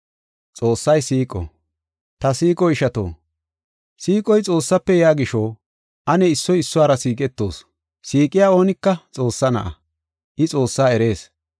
Ta siiqo ishato, siiqoy Xoossafe yaa gisho, ane issoy issuwara siiqetoos. Siiqiya oonika Xoossaa na7a; I Xoossaa erees.